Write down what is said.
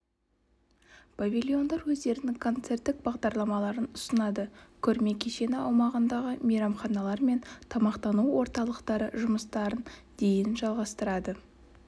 павильондар өздерінің концерттік бағдарламаларын ұсынады көрме кешені аумағындағы мейрамханалар мен тамақтану орталықтары жұмыстарын дейін жалғастырады